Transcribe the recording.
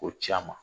K'o ci a ma